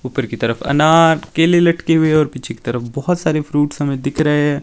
ऊपर की तरफ अनार केले लटके हुए है और पीछे की तरफ बहुत सारे फ्रूट्स हमें दिख रहे है।